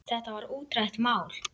Þetta var útrætt mál.